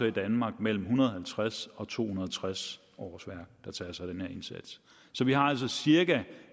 i danmark mellem en hundrede og halvtreds og to hundrede og tres årsværk der tager sig af den her indsats så vi har altså cirka